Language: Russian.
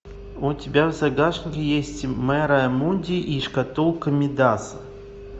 у тебя в загашнике есть мэрайа мунди и шкатулка мидаса